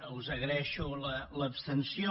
us agraeixo l’abstenció